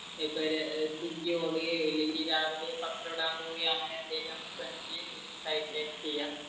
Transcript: ഇപ്പൊ ഒരു സ്വിഗ്ഗി ഓടുകയോ അല്ലെങ്കിൽ രാവിലെ പത്രം ഇടാൻ പോവുകയോ